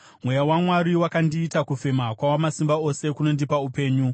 Mweya waMwari wakandiita; kufema kwaWamasimba Ose kunondipa upenyu.